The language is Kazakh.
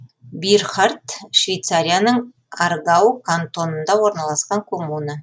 бирхард швейцарияның аргау кантонында орналасқан коммуна